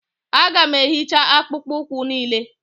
aga m ehicha akpụkpọ ụkwụ niile